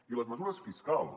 i les mesures fiscals